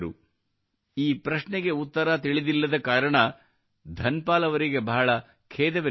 ಈ ಪ್ರಶ್ನೆಗೆ ಉತ್ತರ ತಿಳಿದಿಲ್ಲದ ಕಾರಣ ಧನ್ ಪಾಲ್ ಅವರಿಗೆ ಬಹಳ ಖೇದವೆನಿಸಿತು